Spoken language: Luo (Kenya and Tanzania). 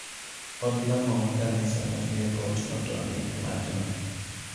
Od lamo ma kanisa mar Newport notony e majno